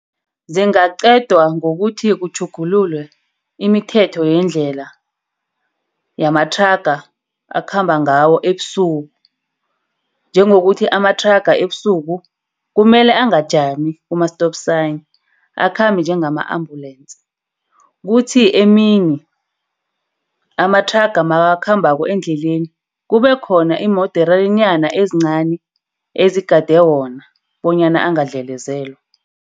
Zingaqedwa ngokuthi kutjhugululwe imithetho yendlela yamathraga akhamba ngawo ebusuku. Njengokuthi amathraga ebusuku kumele angajami kuma-stop sign. Akhambea njengama-ambulensi. Kuthi emini amathraga makakhambako endleleni kube khona iimoderanyana ezincani ezigade wona bonyana kungadlelezela.